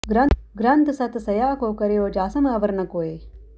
ਗ੍ਰੰਥ ਸਤਿ ਸਇਆ ਕੋ ਕਰਿਓ ਜਾ ਸਮ ਅਵਰ ਨ ਕੋਇ